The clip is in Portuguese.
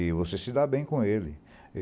E você se dá bem com ele.